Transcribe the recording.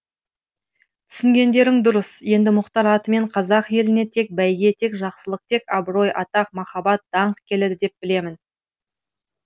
түсінгендерің дұрыс енді мұхтар атымен қазақ еліне тек бәйге тек жақсылық тек абырой атақ махаббат даңқ келеді деп білемін